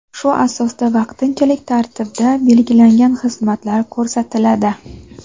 shu asosda vaqtinchalik tartibda belgilangan xizmatlar ko‘rsatiladi.